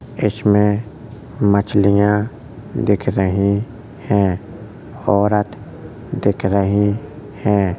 इसमें मछलियां दिख रही हैं। औरत दिख रही हैं।